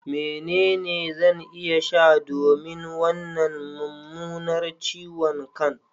Menene zan iya sha domin wannan mummunar ciwon kan?